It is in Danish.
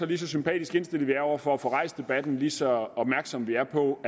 lige så sympatisk indstillet vi er over for at få rejst debatten lige så opmærksomme vi er på